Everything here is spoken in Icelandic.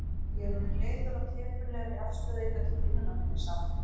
Ég er orðinn leiður á teprulegri afstöðu ykkar til vinnunnar minnar, sagði hann.